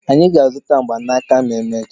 Anyị ga-azụta mgbanaka ma emechaa.